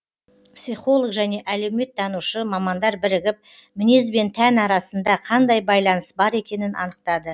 психолог және әлеуметтанушы мамандар бірігіп мінез бен тән арасында қандай байланыс бар екенін анықтады